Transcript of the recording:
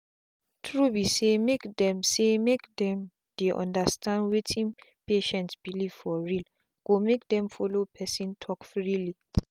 true be saymake them saymake them dey understand wetin patient belief for realgo make them follow person talk freely.